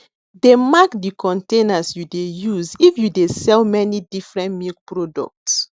dey mark de containers you dey use if you dey sell many different milk product